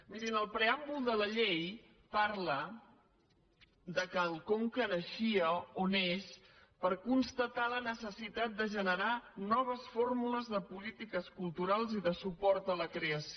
mirin el preàmbul de la llei parla que el conca naixia o neix per constatar la necessitat de generar noves fór·mules de polítiques culturals i de suport a la creació